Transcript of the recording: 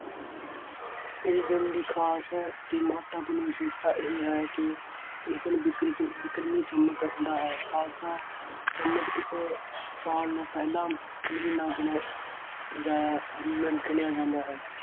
ਇਹ ਦਿਨ ਦੀ ਖਾਸ ਦੀ ਮਹੱਤਤਾਪੂਰਨ ਵਿਸ਼ੇਸ਼ਤਾ ਇਹ ਹੈ ਕਿ ਇਸ ਦਿਨ ਬਿਕਰਿਤ~ ਬਿਕਰਮੀ ਸੰਮਤ ਹੁੰਦਾ ਹੈ। ਖਾਲਸਾ ਸੰਮਤ ਇਸ ਸਾਲ ਨੂੰ ਪਹਿਲਾਂ ਮਹੀਨਾ ਗਿਣਿਆ ਜਾਇਆ, ਅਮ ਗਿਣਿਆ ਜਾਂਦਾ ਹੈ।